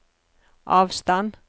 avstand